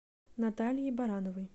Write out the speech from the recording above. натальей барановой